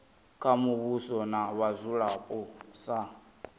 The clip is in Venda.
kha muvhuso na vhadzulapo sa